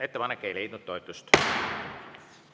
Ettepanek ei leidnud toetust.